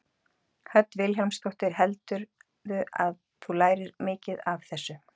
Hödd Vilhjálmsdóttir: Heldurðu að þú lærir mikið af þessu?